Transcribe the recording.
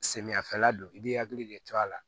Samiyɛfɛla don i b'i hakili de to a la